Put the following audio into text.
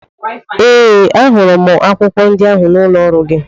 Ee! Ahụrụ m akwụkwọ ndị ahụ n'ụlọ ọrụ gị.